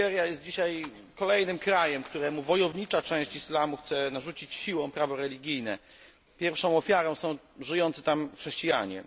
Nigeria jest dzisiaj kolejnym krajem, któremu wojownicza część islamu chce narzucić siłą prawo religijne. Pierwszą ofiarą są żyjący tam chrześcijanie.